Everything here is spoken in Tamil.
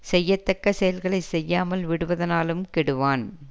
செய்யத்தக்க செயல்களை செய்யாமல் விடுவதனாலும் கெடுவான்